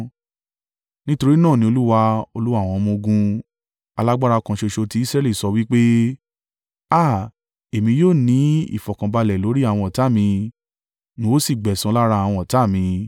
Nítorí náà ni Olúwa, Olúwa àwọn ọmọ-ogun, alágbára kan ṣoṣo tí Israẹli sọ wí pé: “Á à! Èmi yóò ní ìfọ̀kànbalẹ̀ lórí àwọn ọ̀tá mi n ó sì gbẹ̀san lára àwọn ọ̀tá mi.